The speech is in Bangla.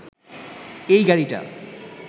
এই গাড়িটা